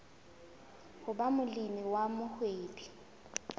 ho ba molemi wa mohwebi